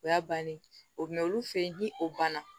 O y'a bannen o bɛn olu fe ye ni o banna